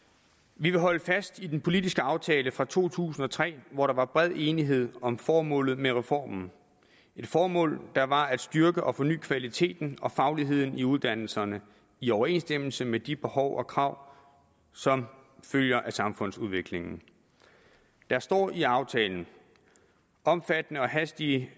vi vil holde fast i den politiske aftale fra to tusind og tre hvor der var bred enighed om formålet med reformen et formål der var at styrke og forny kvaliteten og fagligheden i uddannelserne i overensstemmelse med de behov og krav som følger af samfundsudviklingen der står i aftalen omfattende og hastige